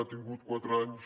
ha tingut quatre anys